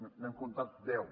n’hem comptat deu